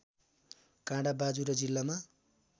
काँडा बाजुरा जिल्लामा